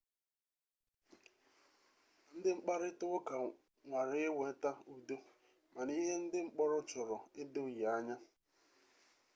ndị mkparịta ụka nwara ịweta udo mana ihe ndị mkpọrọ chọrọ edoghi anya